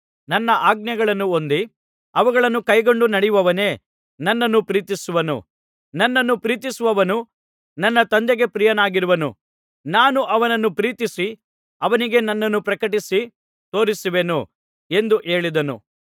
ನನ್ನ ಆಜ್ಞೆಗಳನ್ನು ಹೊಂದಿ ಅವುಗಳನ್ನು ಕೈಕೊಂಡು ನಡೆಯುವವನೇ ನನ್ನನ್ನು ಪ್ರೀತಿಸುವವನು ನನ್ನನ್ನು ಪ್ರೀತಿಸುವವನು ನನ್ನ ತಂದೆಗೆ ಪ್ರಿಯನಾಗಿರುವನು ನಾನೂ ಅವನನ್ನು ಪ್ರೀತಿಸಿ ಅವನಿಗೆ ನನ್ನನ್ನು ಪ್ರಕಟಪಡಿಸಿ ತೋರಿಸುವೆನು ಎಂದು ಹೇಳಿದನು